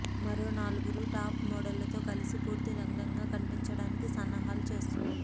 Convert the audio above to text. మరో నలుగురు టాప్ మోడళ్లతో కలిసి పూర్తి నగ్నంగా కన్పించటానికి సన్నాహాలు చేస్తోంది